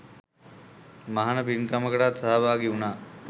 මහණ පින්කමටත් සහභාගි වුණා.